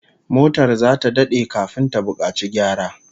Motar zata dade kafin ta bukaci gyara